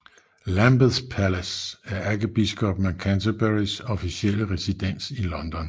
Lambeth Palace er ærkebiskoppen af Canterburys officielle residens i London